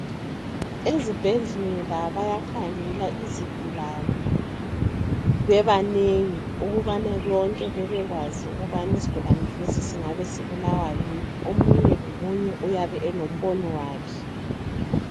Ezibhedlela bayakhangela izigulane bebanengi ukubana bonke bebekwazi ukubana isigulane lesi singabe sibulawa yini , omunye lomunye uyabe elombono wakhe